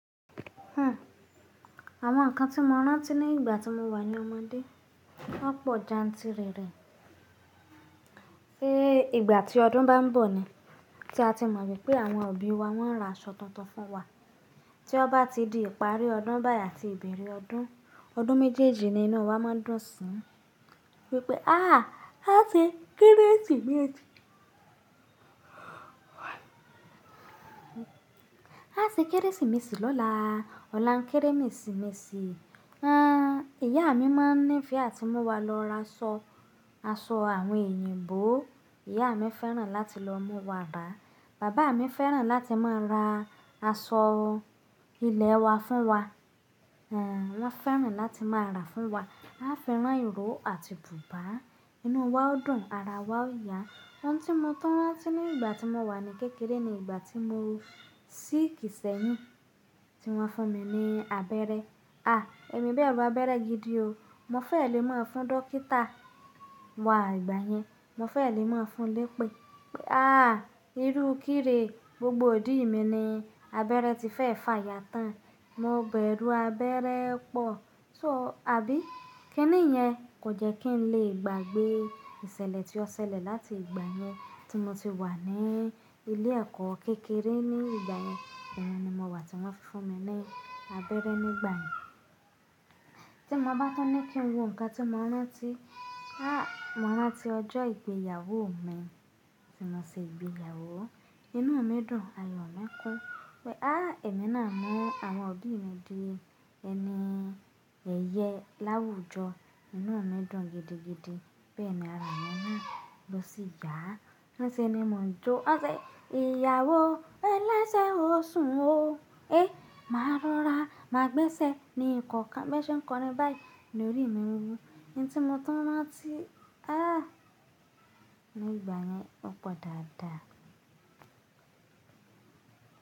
Àwọn nǹkan tí mo rántí ní ìgbà tí mo wà ní ọmọdé, wọ́n pọ̀ jantìrẹrẹ. Ṣé ìgbà tí ọdún bá ń bọ̀ ni, tí a ti mọ̀ wipé àwọn òbí wa wọ́n ra aṣọ tuntun fún wa. Tí ó bá ti di ìparí ọdún báyìí àti ìbẹ̀rẹ̀ ọdún, ọdún méjèèjì ni inú wa máa ń dùn sí i wípé, "Á, a ṣe kérésìmesì. A ṣe kérésìmesì lọ́la, ọ̀la n kérémesìmesì." Àn, ìyá mi máa ń nífẹ̀ẹ́ àti mú wa lọ ra aṣọ, aṣọ àwọn èyìǹbo. Ìyá mi fẹ́ràn láti lọ mú wa ra. Bàbá mi fẹ́ràn láti máa ra aṣọ ilẹ̀ wa fún wa. Àn, wọ́n fẹ́ràn láti máa rà fún wa. A fi ran ìró àti bùbá. Inú wa ó dùn, ara wa ó yà. Ohun tí mo tún rántí ní ìgbà tí mo wà ní kékeré ni ìgbà tí mo sick sẹ́yìn tí wọ́n fún mi ní abẹ́rẹ́. A! Èmi bẹ́ru abẹ́rẹ́ gidi o. Mo fẹ́ẹ̀ lé máa fún dókítà wà ìgbà yẹn. Mo fẹ́ẹ̀ lé máa fún lé pé, "Aà, irú kire gbogbo idí mi ni abẹ́rẹ́ ti fẹ́ fà yà tán. Mo bẹ̀rù abẹ́rẹ́ pọ̀." So, àbí? Kínìyẹn? Kò jẹ́ kí n lè gbàgbé ìṣẹ̀lẹ̀ tí ó ṣẹlẹ̀ láti ìgbà yẹn tí mo ti wà ní ilé ẹ̀kọ́ kékeré ní ìgbà yẹn. Òun ni mo wà tí wọ́n fi fún mi ní abẹ́rẹ́ nígbà yẹn. Tí mo bá tún ní kí n wo nǹkan tí mo rántí, a mo rántí ọjọ́ ìgbéyàwó mi tí mo ṣe ìgbéyàwó. Inú mi dùn, ayọ̀ mi kún wípé, "A! Èmi náà mú àwọn òbí mi di ẹni ẹyẹ láwùjọ." Inú mi dùn gidigidi. Bẹ́ẹ̀ ni ara mi na, lọ sí ya. Ni se ni mò ń jó. Wọ́n ṣe, "Ìyàwó, ẹlẹ́sẹ̀ o, sùn o." "E! Màá rọra, màá gbẹ́sẹ̀." Ní ìkọ̀ọ́ kan, bọn ṣe ń kọrin báyìí ní orí mi ń wu. Ǹ tí mo tọ́ rántí, a! Ní ìgbà yẹn ó pọ̀ dáadáa.